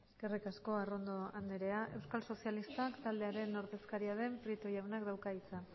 eskerrik asko arrondo andrea euskal sozialistak taldearen ordezkaria den prieto jaunak dauka hitza